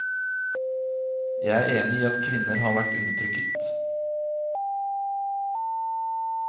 Jeg er enig i at kvinner har vært undertrykt.